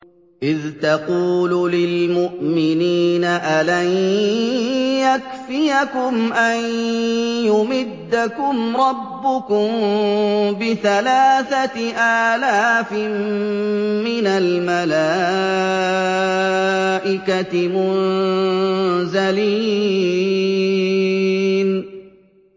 إِذْ تَقُولُ لِلْمُؤْمِنِينَ أَلَن يَكْفِيَكُمْ أَن يُمِدَّكُمْ رَبُّكُم بِثَلَاثَةِ آلَافٍ مِّنَ الْمَلَائِكَةِ مُنزَلِينَ